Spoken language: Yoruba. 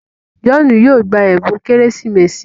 John yóò gbà ẹbùn Kérésìmesì.